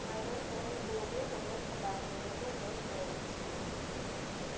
на одной стороне полукруга воет собака на другой воет волк